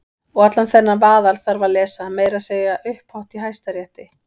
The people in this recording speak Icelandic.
Og allan þennan vaðal þarf að lesa- meira að segja upphátt í Hæstarétti!